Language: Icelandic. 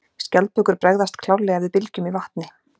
Skjaldbökur bregðast klárlega við bylgjum í vatni.